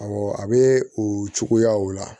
Awɔ a bɛ o cogoyaw la